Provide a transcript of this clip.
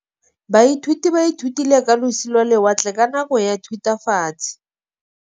Baithuti ba ithutile ka losi lwa lewatle ka nako ya Thutafatshe.